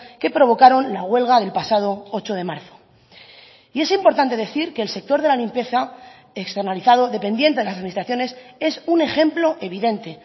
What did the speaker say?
que provocaron la huelga del pasado ocho de marzo y es importante decir que el sector de la limpieza externalizado dependiente de las administraciones es un ejemplo evidente